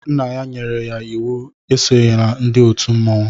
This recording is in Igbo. Nna ya nyere ya íwú e sonyela ndị òtù mmọnwụ